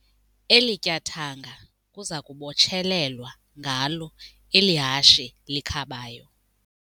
Eli tyathanga kuza kubotshelelwa ngalo eli hashe likhabayo.